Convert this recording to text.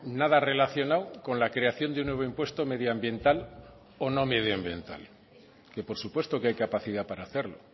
nada relacionado con la creación de un nuevo impuesto medioambiental o no medioambiental que por supuesto que hay capacidad para hacerlo